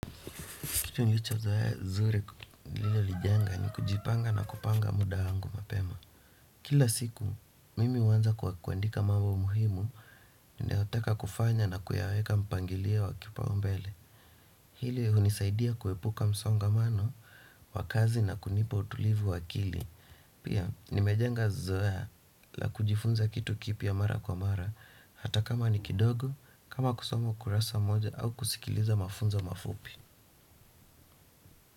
Kitu nilicho zoe zuri lilo lijenga ni kujipanga na kupanga muda wangu mapema. Kila siku, mimi huwanza kuandika mambo muhimu, nayotaka kufanya na kuyaweka mpangilio wa kipau mbele. Hili unisaidia kuepuka msongamano, wakazi na kunipa utulivu wakili. Pia, nimejanga zoe la kujifunza kitu kipiya mara kwa mara, hata kama ni kidogo, kama kusomo kurasa moja au kusikiliza mafunzo mafupi.